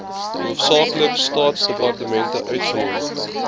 hoofsaaklik staatsdepartemente uitgenooi